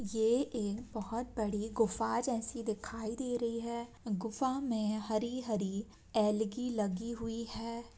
ये एक बहुत बड़ी गुफा जैसी दिखाई दे रही हैं गुफा में हरी-हरी एलगी लगी हुई हैं।